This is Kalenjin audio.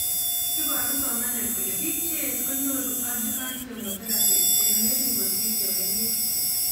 Iparu somanet kole biik cheech konyoru aujuvant chemotherapy chengering kosir chemengech